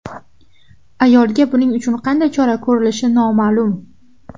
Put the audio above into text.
Ayolga buning uchun qanday chora ko‘rilishi noma’lum.